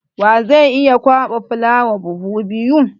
Wa zai iya kwaɓa fulawa buhu biyu?